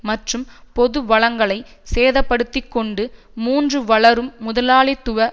மற்றும் பொது வளங்களை சேத படுத்தி கொண்டு மூன்று வளரும் முதலாளித்துவ